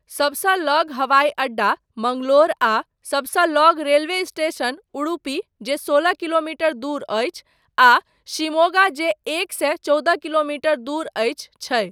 सबसँ लग हवाई अड्डा मंगलोर आ सबसँ लग रेलवे स्टेसन उडुपी जे सोलह किलोमीटर दूर अछि आ शिमोगा जे एक सए चौदह किलोमीटर दूर अछि, छै।